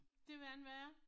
Det ved jeg ikke hvad er